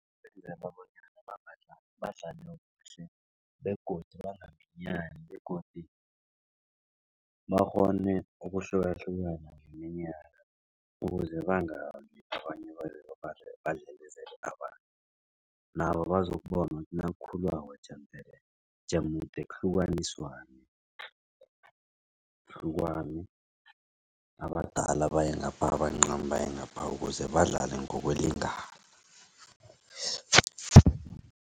Ukwenzela bonyana bangajami badlale kuhle begodu bangaminyani begodu bakghone ukwahlukahlukana ngeminyaka ukuze bangabi abanye badlelezele abanye. Nabo bazokubona ukuthi nakukhulwako jemdele, jemude kuhlukaniswane. Kuhlukanwe abadala baye ngapha abancani baye ngapha ukuze badlale ngokulingana.